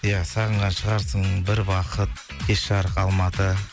ия сағынған шығарсың бір бақыт кеш жарық алматы